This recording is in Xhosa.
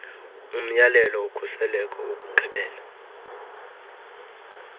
umyalelo wokhuseleko wokugqibela